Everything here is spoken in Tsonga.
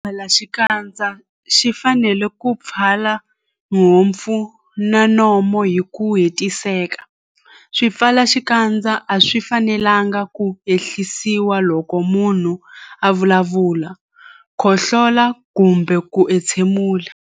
Xipfalaxikandza xi fanele ku pfala nhompfu na nomo hi ku hetiseka. Swipfalaxikandza a swi fanelanga ku ehlisiwa loko munhu a vulavula, khohlola kumbe ku entshemula.